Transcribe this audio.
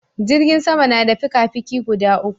Jirgin sama na da fikafiki guda uku